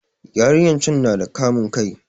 Yarinyar can na da kamun kai